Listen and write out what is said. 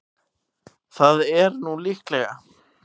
Það er nú líklega.